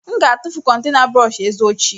M ga-atụfu kontena brọsh eze ochie.